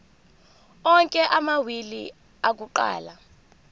onke amawili akuqala